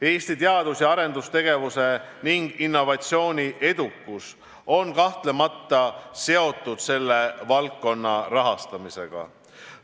Eesti teadus- ja arendustegevuse ning innovatsiooni edukus on kahtlemata seotud selle valdkonna rahastamisega.